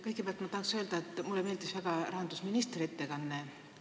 Kõigepealt tahan öelda, et mulle meeldis väga rahandusministri ettekanne.